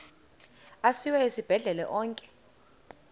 asiwa esibhedlele onke